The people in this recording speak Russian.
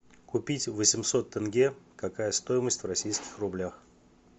купить восемьсот тенге какая стоимость в российских рублях